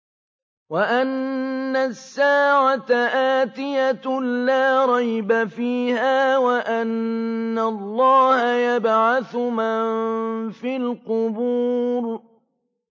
وَأَنَّ السَّاعَةَ آتِيَةٌ لَّا رَيْبَ فِيهَا وَأَنَّ اللَّهَ يَبْعَثُ مَن فِي الْقُبُورِ